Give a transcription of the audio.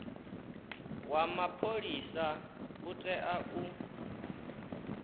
wa mapholisa u tea u